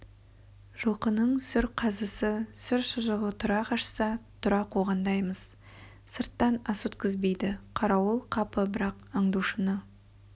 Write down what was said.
жылқының сүр қазысы сүр шұжығы тұра қашса тұра қуғандаймыз сырттан ас өткізбейді қарауыл қапы бірақ аңдушыны